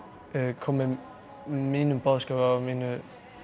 komið mínum boðskap og mínu